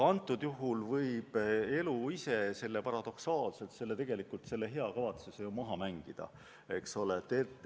Antud juhul võib elu ise paradoksaalselt selle tegelikult hea kavatsuse maha mängida, eks ole.